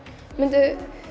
myndu